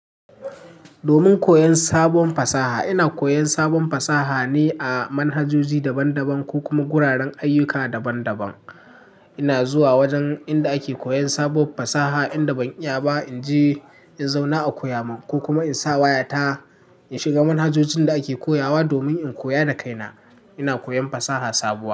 Domin koyon sabon fasaha, ina koyon sabon fasaha ne a manhajoji daban-daban ko kuma guraren ayyuka daban-daban. Ina zuwa wajen inda ake koyon sabuwar fasaha inda ban iya ba, in je in zauna a koya mun ko kuma in sa wayata in shiga manhajojin da ake koya wa domin in koya da kaina. Ina koyon fasaha sabuwa.